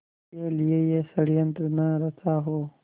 के लिए यह षड़यंत्र न रचा हो